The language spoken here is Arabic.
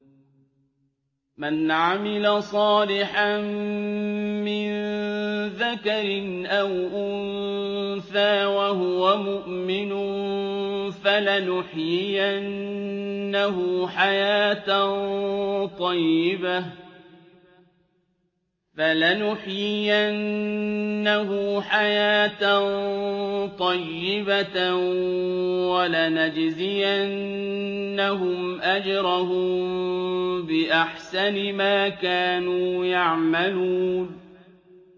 مَنْ عَمِلَ صَالِحًا مِّن ذَكَرٍ أَوْ أُنثَىٰ وَهُوَ مُؤْمِنٌ فَلَنُحْيِيَنَّهُ حَيَاةً طَيِّبَةً ۖ وَلَنَجْزِيَنَّهُمْ أَجْرَهُم بِأَحْسَنِ مَا كَانُوا يَعْمَلُونَ